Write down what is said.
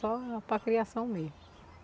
Só para a criação mesmo.